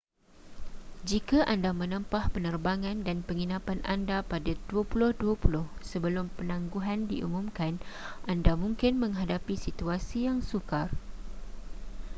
jika anda menempah penerbangan dan penginapan anda pada 2020 sebelum penangguhan diumumkan anda mungkin menghadapi situasi yang sukar